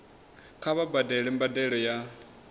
kha vha badele mbadelo ya